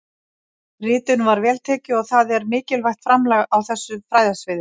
Ritinu var vel tekið og það er mikilvægt framlag á þessu fræðasviði.